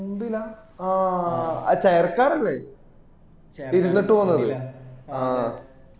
മുമ്പിലാ ആ chair car ക്ക അമ്മള് ഇരുന്നിട്ട് പോകുന്നത ആ